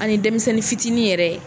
An ni denmisɛnnin fitinin yɛrɛ ye